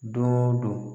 Don o don